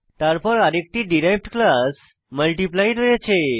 তারপর আরেকটি derived class multiply রয়েছে